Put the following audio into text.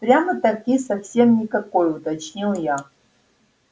прямо-таки совсем никакой уточнил я